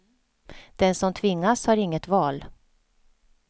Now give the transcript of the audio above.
Den som tvingas har inget val.